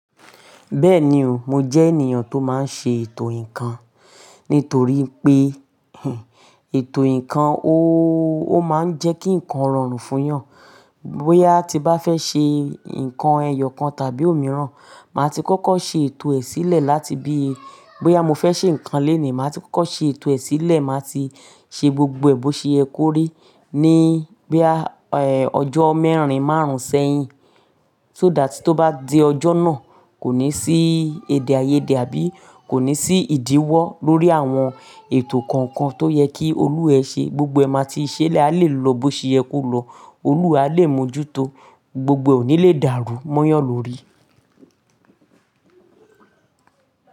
Bẹ́ẹ̀ni o, mo jẹ́ ènìyàn tó máa ń ṣe ètò ǹkan. Nítorí pé, ètò ǹkan ó, ó máa ń jẹ́ kí ǹkan rọrùn fún ẹ̀yàn. Bóyá a ti bá fẹ́ ṣe ǹkan ẹyọ kan tàbí òmíràn, màá ti kókó ṣe ètò ẹ̀ sílẹ̀ láti bí i, bóyá mo fẹ́ ṣe ǹkan le nìí, màá ti kókó ṣe ètò ẹ̀ sílẹ̀, màá ti ṣe gbogbo èbó ṣe ko rí ní bo ya ẹ, ọjọ́ mẹ́rin, márùn-ún sẹ́yìn. So that tó bá dé ọjọ́ náà, kò ní sí èdè-áiyedé àbí kò ní sí ìdíwọ́ lórí àwọn ètò kankan tó yẹ kí olúwa ṣe. Gbogbo ẹ máa ti ṣẹ́lẹ̀, a lè lo bóyá ṣe ekú lọ, olúwa a lè mójútó, gbogbo òní lè dárú mọ́yàn lórí.